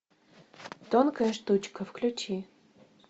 тонкая штучка включи